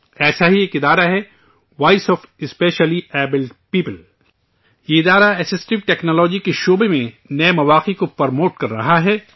ایسا ہی ایک ادارہ ہے voice of specially abled people, یہ ادارہ اسسٹو ٹیکنالوجی کے شعبے میں نئے مواقع کو پروموٹ کر رہاہے